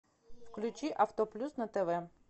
включи авто плюс на тв